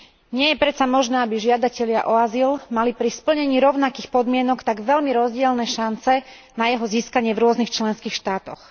Nie je predsa možné, aby žiadatelia o azyl mali pri splnení rovnakých podmienok tak veľmi rozdielne šance na jeho získanie v rôznych členských štátoch.